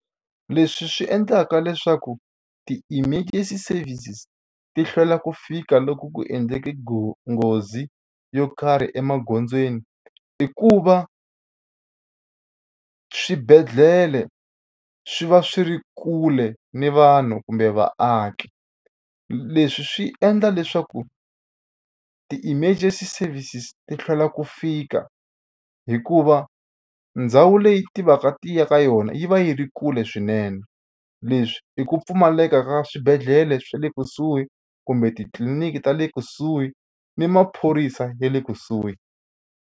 Leswi swi endlaka leswaku ti-emergency services ti hlwela ku fika loko ku endleke nghozi yo karhi emagondzweni i ku va swibedhlele swi va swi ri kule ni vanhu kumbe vaaki leswi swi endla leswaku ti-emergency services ti hlwela ku fika hikuva ndhawu leyi ti va ka ti ya ka yona yi va yi ri kule swinene leswi i ku pfumaleka ka swibedhlele swa le kusuhi kumbe titliliniki ta le kusuhi ni maphorisa ya le kusuhi.